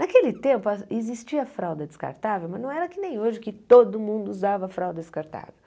Naquele tempo, a existia a fralda descartável, mas não era que nem hoje, que todo mundo usava a fralda descartável.